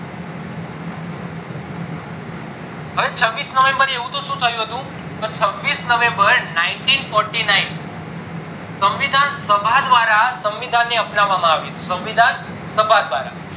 હવે છવીસ november એ એવુતો શું થયું હતું તો છવીસ november નાય્ન્તી ફોર્ટીનાય્ન સંવીષણ સભા દ્વારા સંવીષણ ને અપનાવામાં આવ્યું હતું સંવિધાન સભા દ્વારા